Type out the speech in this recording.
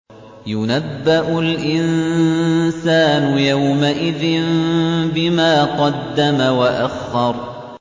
يُنَبَّأُ الْإِنسَانُ يَوْمَئِذٍ بِمَا قَدَّمَ وَأَخَّرَ